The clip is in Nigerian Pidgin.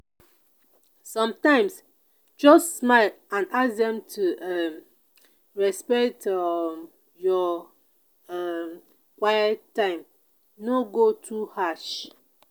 sometimes just smile and ask dem to um respect um your um quiet time no go too harsh.